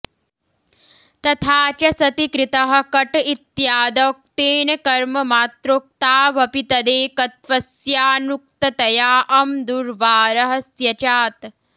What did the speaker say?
तथा च सति कृतः कट इत्यादौ क्तेन कर्ममात्रोक्तावपि तदेकत्वस्याऽनुक्ततया अम् दुर्वारः स्यचात्